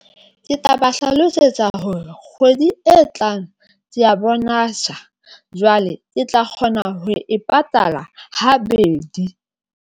Ke tla ba hlalosetsa hore kgwedi e tlang bonasa, jwale ke tla kgona ho e patala habedi.